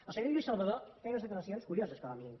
el senyor lluís salvador feia unes declaracions curioses com a mínim